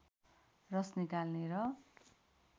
रस निकाल्ने र